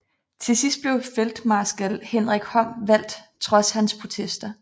Til sidst blev feltmarskal Henrik Horn valgt trods hans protester